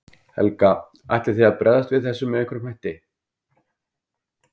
Helga: Ætlið þið að bregðast við þessu með einhverjum hætti?